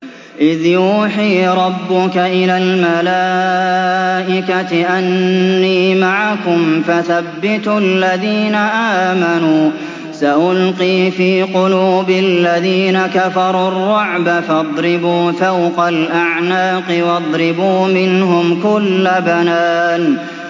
إِذْ يُوحِي رَبُّكَ إِلَى الْمَلَائِكَةِ أَنِّي مَعَكُمْ فَثَبِّتُوا الَّذِينَ آمَنُوا ۚ سَأُلْقِي فِي قُلُوبِ الَّذِينَ كَفَرُوا الرُّعْبَ فَاضْرِبُوا فَوْقَ الْأَعْنَاقِ وَاضْرِبُوا مِنْهُمْ كُلَّ بَنَانٍ